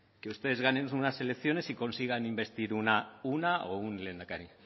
que ustedes ganen unas elecciones y consigan investir una o un lehendakari